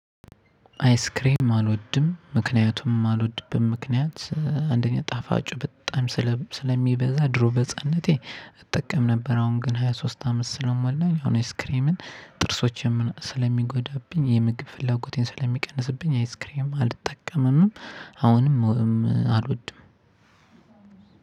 አይስክሬም አልወድም ምክንያቱም ማልወድበት ምክንያት አንደኛ ጣፋጩ በጣም ስለሚበዛ ድሮ በህፃንነቴ እጠቀም ነበር አሁን ግን ሃያ ሶስት አመት ስለሞላኝ አሁን አይስክሬምን ጥርሶቼን ስለሚጎዳብኝ የምግብ ፍላጎቴን ስለሚቀንስብኝ አይስክሬም አልጠቀምምም። አሁንም አልወድም።